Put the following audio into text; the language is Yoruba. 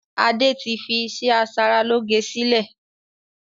Adé tí fi iṣẹ́ asaralóge sílẹ̀